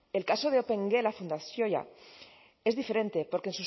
el caso de la opengela fundazioa es diferente porque